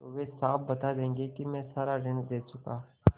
तो वे साफ बता देंगे कि मैं सारा ऋण दे चुका